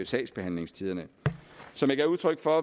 sagsbehandlingstiderne som jeg gav udtryk for